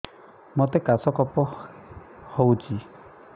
ମୋତେ କାଶ କଫ ହଉଚି